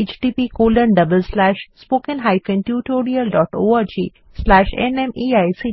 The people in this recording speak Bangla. আমি অন্তরা এই টিউটোরিয়ালটি অনুবাদ এবং